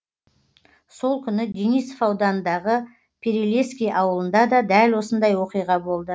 сол күні денисов ауданындағы перелески ауылында да дәл осындай оқиға болды